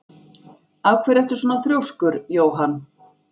Af hverju ertu svona þrjóskur, Jóann?